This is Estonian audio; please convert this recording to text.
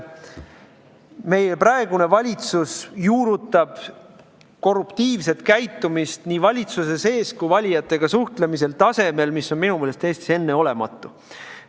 Meie praegune valitsus juurutab korruptiivset käitumist nii valitsuse sees kui valijatega suhtlemisel tasemel, mis on minu meelest Eestis enneolematu.